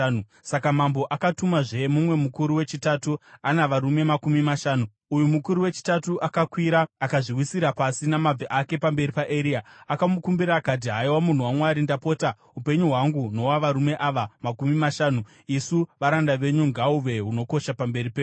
Saka mambo akatumazve mumwe mukuru wechitatu ana varume makumi mashanu. Uyu mukuru wechitatu akakwira akazviwisira pasi namabvi ake pamberi paEria. Akamukumbira akati, “Haiwa, munhu waMwari, ndapota, upenyu hwangu nohwavarume ava makumi mashanu, isu varanda venyu, ngahuve hunokosha pamberi penyu.